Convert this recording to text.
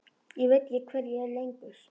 Ég veit ekki hver ég er lengur.